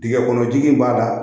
Dingɛ kɔnɔ ji in b'a da